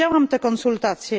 Widziałam te konsultacje.